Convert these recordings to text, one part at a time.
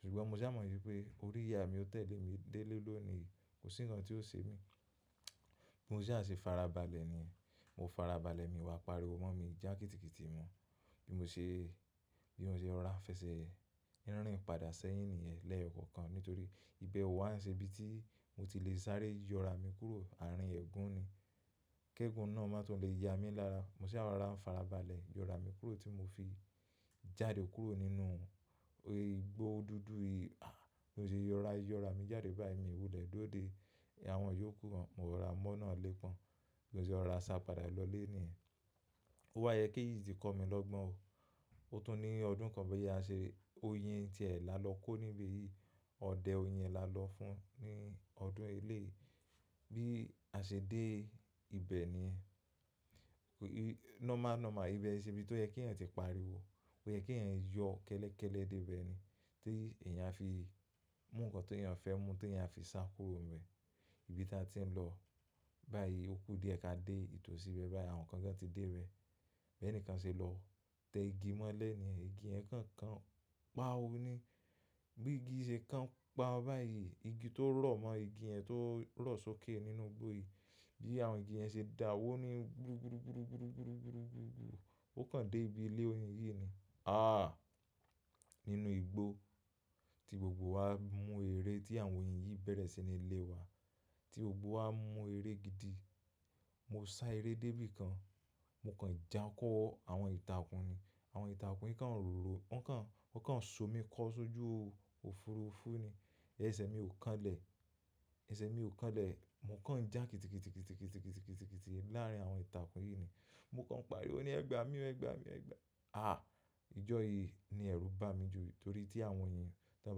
Ṣùgbọ́n mo sá mọ wípé orí ìyá mi ó tẹ̀lé mi delé lónìí, kò sí ǹkan tí ó ṣe mí. Bímo sá ṣe fara balẹ̀ ni yẹn. Mo fara balẹ̀ mi wá pariwo mọ́ mi jẹ́ kíìkììkì mọ́. Bí mo ṣe, bí mo ṣe rọ̀rá fẹsẹ̀ n rín padà sẹ́yìn nìyẹn lẹ́ẹ̀kọ̀kan nítorí ibẹ̀ ó wá ń ṣe ibi tí mo ti lè sáré yọ ara mi kúrò àárín ẹ̀gún ni. Kẹ́gún náà má tún lè ya mi lára. Mo sá rora ń fara balẹ̀ yọ ra mi kúrò tí mo fi jáde kúrò nínú igbó dúdú yìí. Bí mo ṣe rọ̀rá yọ ara mi jáde báyìí, mìí wúlẹ̀ dúró dé àwọn ìyókù gan, mo kan rora mọ́ náà ilé pọ́n. Mo ṣe rọ̀rá sá padà lọ lé níyẹn. Ó wá yẹ kéyì sítì kò mi lọ́gbọ́n o. Ó tún ní ọdún kan bí a ṣe oyin ti ẹ̀ là lọ kó níbi yìí. Ọdẹ oyin là lọ fún ní ọdún eléyì. Bí a ṣe dé ibẹ̀ nìyẹn. Normal, normal ibẹ̀ i ṣe ibi tó yẹ kí ẹ̀yàn ti pariwo. Ó yẹ kí ẹ̀yàn yọ kẹ́lẹ́kẹ́lẹ́ dé ibẹ̀ ni. Tí ẹ̀yàn a fi mú ǹkan tó ẹ̀yàn fẹ́ mú tí ẹ̀yàn fi sá kúrò níbẹ̀. Ibi tí a ti ń lọ báyìí ó kú díẹ̀ ká dé ìtòsí bẹ́ẹ̀ báyìí àwọn kan gan ti dé bè. Bí ẹnìkan ṣe lọ tẹ igi mọ́lẹ̀ níyẹn. Igi yẹ̀n kan kan pa ọ́ ni. Bí igi ṣe kan pa ọ́ báyìí, igi tó rọ̀ mọ́, igi yẹ̀n tó rọ̀ sókè nínú igbó yìí. Bí àwọn igi ẹ̀ ṣe dà wó ni gúrú gúrú gúrú gúrú gúrú gúrú gúrú gúrú. Ó kan dé ibi ilé oyin yìí ni. Àh! Nínú igbó tí gbogbo wa mú eré tí àwọn oyin yìí bẹ̀rẹ̀ sí ní lé wa. Tí gbogbo wa mú eré gidi. Mo sá eré dé bí kan, mo kan já kọ́ àwọn ìtàkùn ni. Àwọn ìtàkùn yìí kan rọ̀rọ̀, wọ́n kan, wọ́n kan so mi kọ́ sójú òfuurufú ni. Ẹsẹ̀ mi ò kan lè. Ẹsẹ̀ mi ò kan lè. Mo kan já kíìtikiti kítikiti kítikiti kítikiti láàrín àwọn ìtàkùn yìí ni. Mo kan pariwo ní ẹgbàá mi ọ, ẹgbàá mi ọ, ẹgbàá. Àh! Ìjọ́ yìí ni ẹ̀rù bá mi ju nítorí tí àwọn oyin yẹn tí wọ́n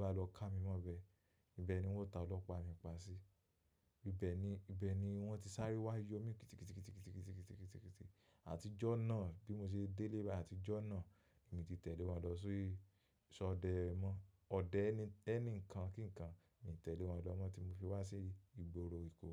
bá lọ ká mi mọ́bẹ̀. Ibẹ̀ ni wọ́n ta ọlọ́pàá mi pa sí. Ibẹ̀ ni, ibẹ̀ ni wọ́n ti sáré wá yọ mí kitikit kítikitì kitikitì kítikitì. Àtijọ́ náà bí mo ṣe délé bái àtijọ́ náà, èmi ti tẹ̀lé wọn lọ sí sọdẹ mọ́, ọdẹ ẹni nǹkan kí nǹkan, mi tẹ̀lé wọn lọ mọ́ tí mo fi wá sí ìgboro Èkó.